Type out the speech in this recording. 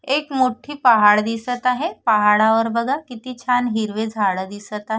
एक मोठी पहाड दिसत आहे पहाडावर बघा किती छान हिरवे झाड दिसत आ--